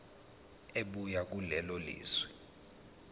ebuya kulelo lizwe